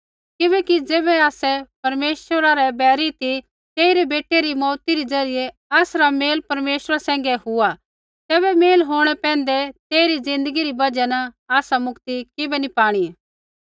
किबैकि ज़ैबै आसै परमेश्वरा रै बैरी ती तेइरै बेटै री मौऊती री ज़रियै आसरा मेल परमेश्वरा सैंघै हुआ तैबै मेल होंणै पैंधै तेइरी ज़िन्दगी री बजहा न आसा मुक्ति किबै नी पाणी